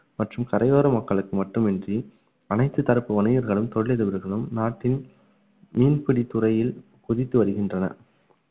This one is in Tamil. மற்றும் கரையோர மக்களுக்கு மட்டுமின்றி அனைத்து தரப்பு வணிகர்களும் தொழிலதிபர்களும் நாட்டின் மீன்பிடித் துறையில் குதித்து வருகின்றனர்